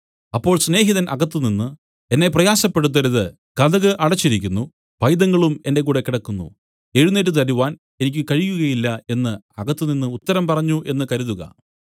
അപ്പോൾ സ്നേഹിതൻ അകത്തുനിന്ന് എന്നെ പ്രയാസപ്പെടുത്തരുത് കതക് അടച്ചിരിക്കുന്നു പൈതങ്ങളും എന്റെ കൂടെ കിടക്കുന്നു എഴുന്നേറ്റ് തരുവാൻ എനിക്ക് കഴിയുകയില്ല എന്നു അകത്തുനിന്ന് ഉത്തരം പറഞ്ഞു എന്നു കരുതുക